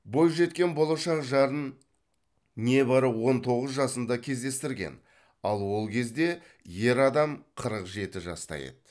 бойжеткен болашақ жарын небәрі он тоғыз жасында кездестірген ал ол кезде ер адам қырық жеті жаста еді